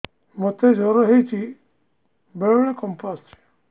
ମୋତେ ଜ୍ୱର ହେଇଚି ବେଳେ ବେଳେ କମ୍ପ ଆସୁଛି